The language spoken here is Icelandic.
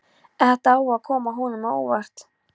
Þetta á að koma honum á óvart.